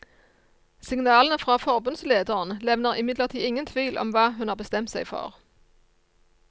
Signalene fra forbundslederen levner imidlertid ingen tvil om hva hun har bestemt seg for.